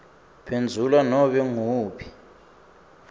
phendvula nobe nguwuphi